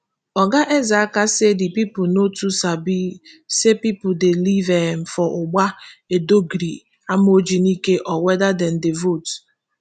oga eze aka say di pipo no too sabi say pipo dey live um for ugba edogori amorji nike or weda dem dey vote